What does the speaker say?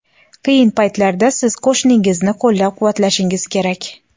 qiyin paytlarda siz qo‘shningizni qo‘llab-quvvatlashingiz kerak.